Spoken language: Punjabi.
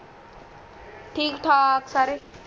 ਠੀਕ ਠਾਕ ਸਾਰੇ